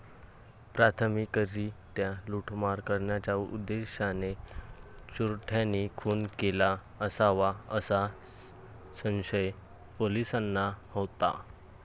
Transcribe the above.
प्राथमिकरित्या लुटमार करण्याच्या उद्देशाने चोरट्यांनी खून केला असावा, असा संशय पोलिसांना होता.